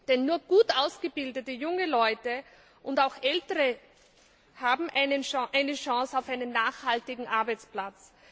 Denn nur gut ausgebildete junge Leute und auch ältere Menschen haben eine Chance auf einen nachhaltigen Arbeitsplatz.